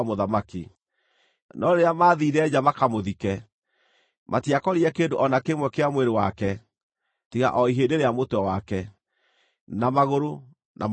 No rĩrĩa maathiire nja makamũthike, matiakorire kĩndũ o na kĩmwe kĩa mwĩrĩ wake, tiga o ihĩndĩ rĩa mũtwe wake, na magũrũ, na moko make.